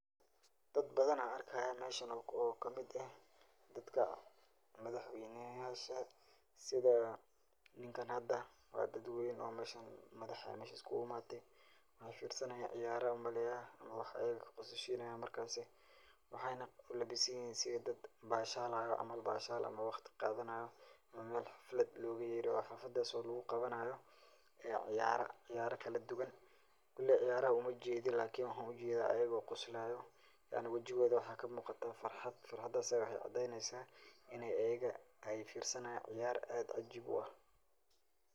Dad badan an arkaya meshan ,oo kamid eh dadka madaxweynasha sida ninkan hada, waa dad weyn oo meshan madax aya mesha iskugu imaate, maxay firsanayan ciyar an umaleeya wax ayaga kaqososhinay marka waxayna ulabisan yihin sidi dad bashalayo camal bashan ama waqti qaadanayo Mel xaflad loga yeero oo xafladas oo lugu qabanayo ciyaara, ciyaara kala duban, koley ciyaaraha umajedi lakin waxan ujeda ayago qoslayo yacni wajiyadoda waxa kamuuqata farxad, farxadaas aya waxay cadeneysa inay ayaga ay firsanayan ciyaar aad cajib u ah